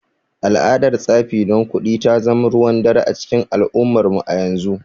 Al’adar tsafi don kuɗi ta zama ruwan dare a cikin al’ummarmu a yanzu.